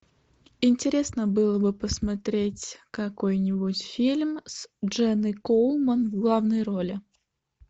интересно было бы посмотреть какой нибудь фильм с дженной коулман в главной роли